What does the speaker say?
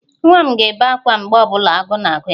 Nwa m ga-ebe ákwá mgbe ọ bụla agụụ na-agụ ya